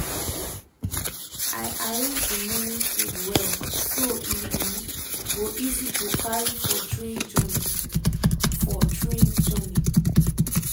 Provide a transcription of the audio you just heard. i arrange the morning food well so e um go easy to carry for train journey. for train journey.